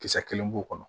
Kisɛ kelen b'u kɔnɔ